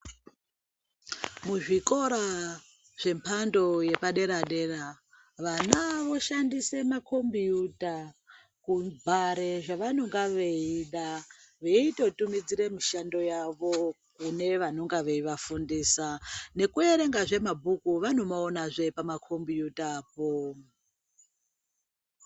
Muzvikora zvembando yepaderadera vana vanoshandise makombuta kubhare zvevanenge veida veitotumidzire mishando yavo kunevanenge veiafundisa nekuerengazve mabhuku vanoaonazve pamakombuta po.